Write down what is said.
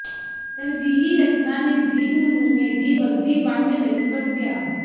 ਤਰਜੀਹੀ ਰਚਨਾ ਨਿਰਜੀਵ ਨਮੂਨੇ ਦੀ ਵਰਦੀ ਵੰਡ ਲਈ ਵਰਤਿਆ